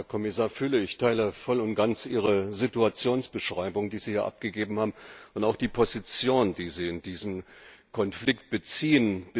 Herr Kommissar Füle, ich teile voll und ganz Ihre Situationsbeschreibung, die Sie hier abgegeben haben, und auch die Position, die Sie in diesem Konflikt beziehen.